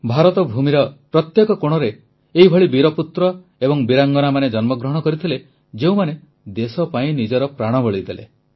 ଭାରତ ଭୂମିର ପ୍ରତ୍ୟେକ କୋଣରେ ଏଭଳି ବୀରପୁତ୍ର ଏବଂ ବୀରାଙ୍ଗନାମାନେ ଜନ୍ମଗ୍ରହଣ କରିଥିଲେ ଯେଉଁମାନେ ଦେଶ ପାଇଁ ନିଜର ପ୍ରାଣବଳି ଦେଲେ